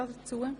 – Nein.